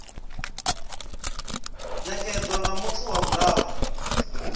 nekedzwa nga muthu wa vhuraru